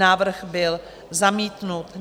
Návrh byl zamítnut.